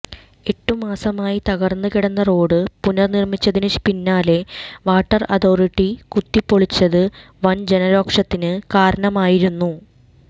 എട്ട് മാസമായി തകർന്ന് കിടന്ന റോഡ് പുനർനിർമ്മിച്ചതിന് പിന്നാലെ വാട്ടർ അതോറിറ്റി കുത്തിപൊളിച്ചത് വന് ജനരോക്ഷത്തിന് കാരണമായിരുന്നു